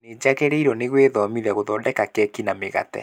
Nĩnjagĩrĩirwo nĩ gwĩthomithia gũthondeka keki na mĩgate